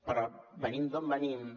però venim d’on venim